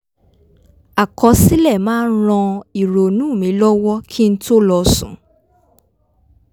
àkọsílẹ̀ máa ń ran ìrònú mi lọ́wọ́ kí n tó lọ sùn